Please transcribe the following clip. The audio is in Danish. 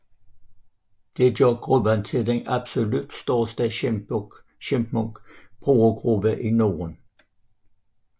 Det gør gruppen til den absolut største Chipmunk brugergruppe i Norden